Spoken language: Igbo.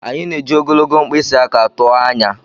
Anyị na-eji ogologo mkpịsị aka tụọ anya.